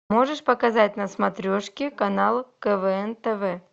можешь показать на смотрешке канал квн тв